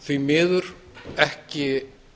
því miður ekki